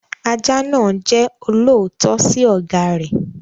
Ajá náà jẹ́ olóòótọ́ sí ọ̀gá rẹ̀.